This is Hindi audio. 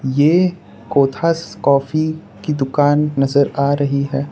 यह कोथास कॉफी की दुकान नजर आ रही है।